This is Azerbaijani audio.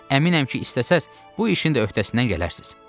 Əminəm ki, istəsəniz, bu işin də öhdəsindən gələrsiz.